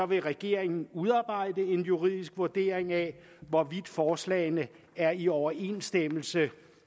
vil regeringen udarbejde en juridisk vurdering af hvorvidt forslagene er i overensstemmelse